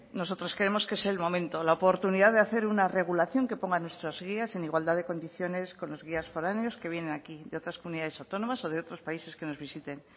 nosotros creemos que es el momento la oportunidad de hacer una regulación que ponga nuestras guías en igualdad de condiciones con los guías foráneos que vienen aquí de otras comunidades autónomas o de otros países que nos visiten